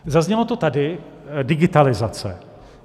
Zaznělo to tady - digitalizace.